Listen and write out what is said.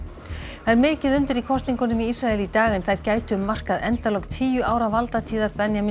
það er mikið undir í kosningunum í Ísrael í dag en þær gætu markað endalok tíu ára valdatíðar Benjamíns